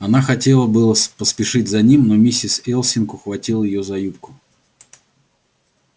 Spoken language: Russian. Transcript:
она хотела было с поспешить за ним но миссис элсинг ухватила её за юбку